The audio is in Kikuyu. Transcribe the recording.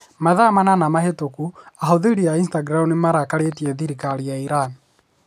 Mathaa manana mahĩtũku ahũthĩri a Instagram nĩ marakarĩtie thirikari ya Iran.